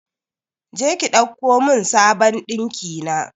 Je ki ɗauko mun sabon ɗinkina